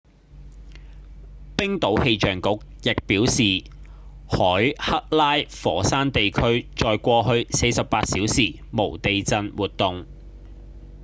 冰島氣象局亦表示海克拉火山地區在過去48小時無地震活動